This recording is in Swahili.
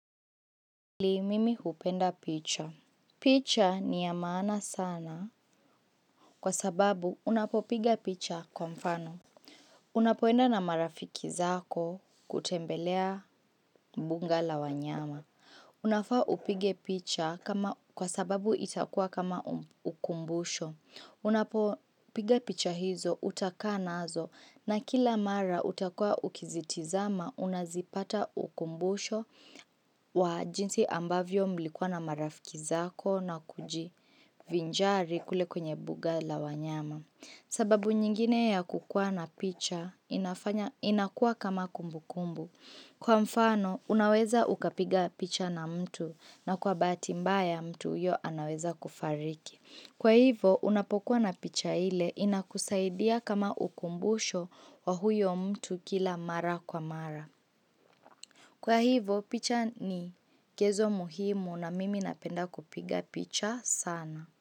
Pili mimi hupenda picha picha ni ya maana sana kwa sababu unapopiga picha kwa mfano Unapoenda na marafiki zako kutembelea mbuga la wanyama Unafaa upige picha kwa sababu itakua kama ukumbusho Unapopiga picha hizo utakaa nazo na kila mara utakua ukizitizama unazipata ukumbusho wa jinsi ambavyo mlikuwa na marafiki zako na kujivinjari kule kwenye buga la wanyama. Sababu nyingine ya kukua na picha inafanya inakua kama kumbu kumbu. Kwa mfano, unaweza ukapiga picha na mtu na kwa bahati mbaya mtu huyo anaweza kufariki. Kwa hivo, unapokuwa na picha ile inakusaidia kama ukumbusho wa huyo mtu kila mara kwa mara. Kwa hivo, picha ni kezo muhimu na mimi napenda kupiga picha sana.